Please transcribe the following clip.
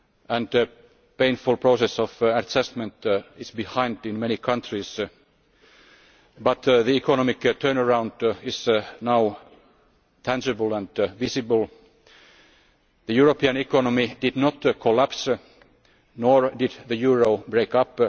and the painful process of assessment is behind in many countries, but the economic turnaround is now tangible and visible. The European economy did not collapse, nor did the euro break